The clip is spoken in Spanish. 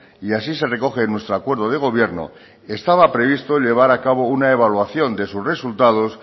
y así se recoge en nuestro acuerdo de gobierno estaba previsto llevar a cabo una evaluación de su resultados